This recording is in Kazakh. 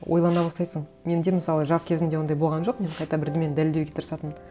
ойлана бастайсың менде мысалы жас кезімде ондай болған жоқ мен қайта бірдеңені дәлелдеуге тырысатынмын